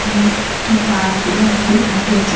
একটি বাস এগুলো অনেকগুলো গাড়ি রয়েছে।